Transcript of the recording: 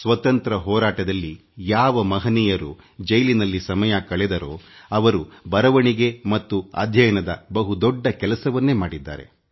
ಸ್ವತಂತ್ರ ಹೋರಾಟದಲ್ಲಿ ಜೈಲು ಸೇರಿದ ಶ್ರೇಷ್ಠರು ಓದುವುದರಲ್ಲಿ ಮತ್ತು ಬರವಣಿಗೆಯಲ್ಲಿ ತಮ್ಮ ಸಮಯವನ್ನು ಕಳೆದರು